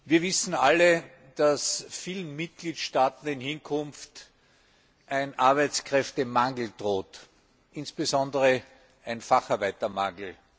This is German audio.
Wir wissen alle, dass vielen Mitgliedstaaten in Hinkunft ein Arbeitskräftemangel droht, insbesondere ein Facharbeitermangel.